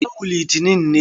Yau litinin ne.